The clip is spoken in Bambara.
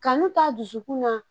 Kanu t'a dusukun na